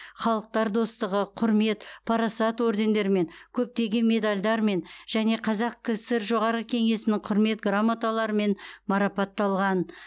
халықтар достығы құрмет парасат ордендерімен көптеген медальдармен және қазақ кср жоғарғы кеңесінің құрмет грамоталарымен марапатталған